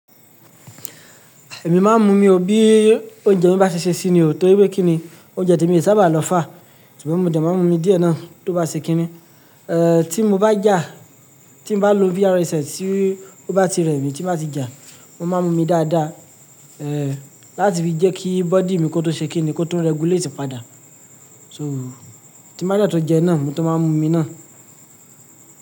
Èmi máa ń mu omi ò bí oúnjẹ mi bá ti ṣe sími ò tó wípé kíni oúnjẹ temi ò sábà lọ fà, ṣùgbọ́n mo de máa ń mu omi díẹ̀ náà tó bá ṣe kínni. Eh, tí mo bá jà, tí mo bá lo VR set tí ó bá ti rẹ̀ mí, tí mo bá ti jà, mo máa ń mu omi dáadáa, eh láti fi jẹ́ kí body mi kó tun ṣe kínni kó tún regulate padà. So tí bá dẹ̀ tun jẹun náà maa tun máa ń mu omi náà.